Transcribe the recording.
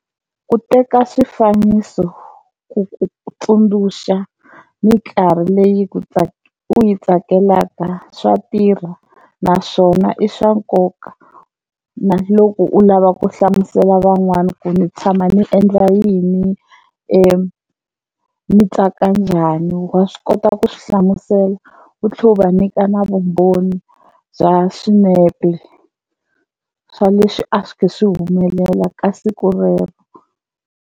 Ku teka swifaniso ku ku tsundzuxa mikarhi leyi ku u yi tsakelaka swa tirha naswona i swa nkoka na loko u lava ku hlamusela van'wani ku ni tshama ni endla yini ni tsaka njhani wa swi kota ku swi hlamusela u tlhe u va nyika na vumbhoni bya swinepe swa leswi a swi khi swi humelela ka siku rero.